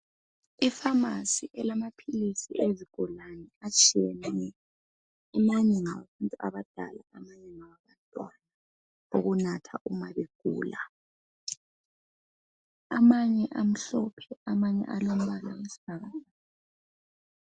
Ipharmacy elamaphilisi ezigulane atshiyeneyo. Amanye ngawabantu abadala. Amanye ngawabantwana. Awokunatha uma begula. Amanye amhlophe. Amanye amhlophe, amanye alombala owesibhakabhaka.